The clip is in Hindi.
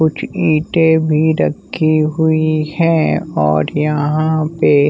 कुछ ईटें भी रखी हुई है और यहां पे--